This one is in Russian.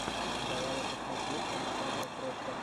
давай я посмотрю александра крофта